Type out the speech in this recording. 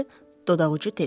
Dodaqucu dedi.